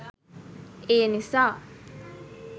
ඒනිසා